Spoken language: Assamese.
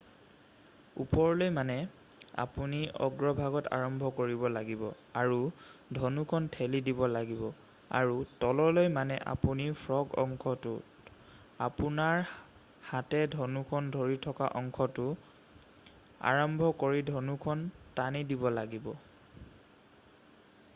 ওপৰলৈ মানে আপুনি অগ্ৰভাগত আৰম্ভ কৰিব লাগিব আৰু ধনুখন ঠেলি দিব লাগিব আৰু তললৈ মানে আপুনি ফ্ৰগ অংশটোত আপোনাৰ হাতে ধনুখন ধৰি থকা অংশটো আৰম্ভ কৰি ধনুখন টানি দিব লাগিব।